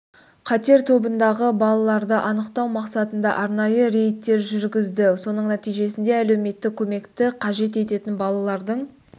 қатер тобындағы балаларды анықтау мақсатында арнайы рейдтер жүргізді соның нәтижесінде әлеуметтік көмекті қажет ететін балалардың